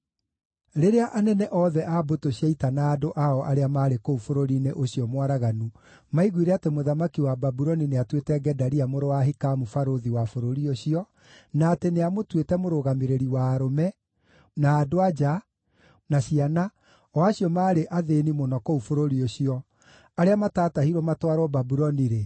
Rĩrĩa anene othe a mbũtũ cia ita na andũ ao arĩa maarĩ kũu bũrũri-inĩ ũcio mwaraganu maiguire atĩ mũthamaki wa Babuloni nĩatuĩte Gedalia mũrũ wa Ahikamu barũthi wa bũrũri ũcio, na atĩ nĩamũtuĩte mũrũgamĩrĩri wa arũme, na andũ-a-nja, na ciana, o acio maarĩ athĩĩni mũno kũu bũrũri ũcio, arĩa mataatahirwo matwarwo Babuloni-rĩ,